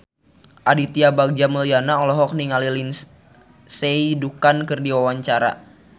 Aditya Bagja Mulyana olohok ningali Lindsay Ducan keur diwawancara